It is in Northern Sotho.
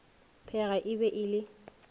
pheega e be e le